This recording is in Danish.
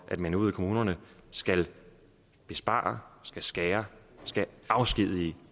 man ude i kommunerne skal spare skal skære skal afskedige